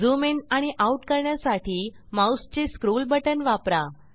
zoom in आणि out करण्यासाठी माऊसचे स्क्रोल बटण वापरा